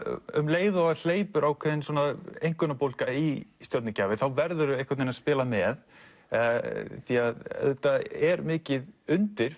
um leið og það hleypur ákveðin einkunnabólga í stjörnugjafir þá verðurðu einhvern veginn að spila með auðvitað er mikið undir